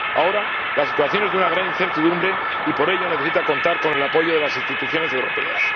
Ahora, la situación es de una gran incertidumbre y por ello necesita contar con el apoyo de las instituciones europeas.